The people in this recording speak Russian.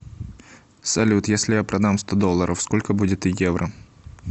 салют если я продам сто долларов сколько будет евро